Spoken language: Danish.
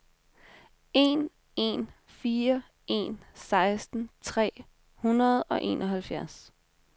en en fire en seksten tre hundrede og enoghalvfjerds